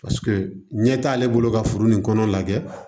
Paseke ɲɛ t'ale bolo ka foro nin kɔnɔ lajɛ